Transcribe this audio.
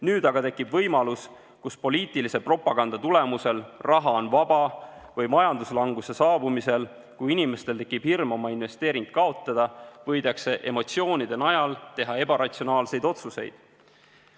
Nüüd aga tekib võimalus, et poliitilise propaganda tulemusel raha on vaba või majanduslanguse saabumise korral, kui inimestel tekib hirm oma investeering kaotada, võidakse emotsioonide najal teha ebaratsionaalseid otsuseid.